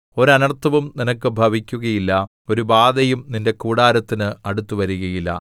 ഒരു അനർത്ഥവും നിനക്ക് ഭവിക്കുകയില്ല ഒരു ബാധയും നിന്റെ കൂടാരത്തിന് അടുത്തുവരുകയില്ല